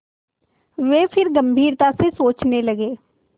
वे फिर गम्भीरता से सोचने लगे